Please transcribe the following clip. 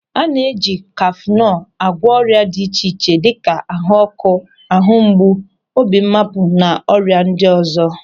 A na e ji kafenol a gwọ ọrịa dị iche iche dịka ahuọ́kụ́, ahumgbu, obi mmapụ na ọrịa ndị ọzọ.